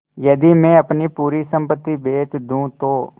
यदि मैं अपनी पूरी सम्पति बेच दूँ तो